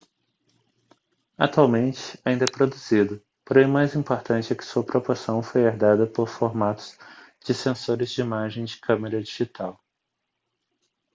atualmente ainda é produzido porém o mais importante é que sua proporção foi herdada por formatos de sensores de imagem de câmera digital